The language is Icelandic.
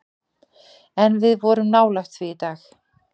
En við vorum nálægt því í dag.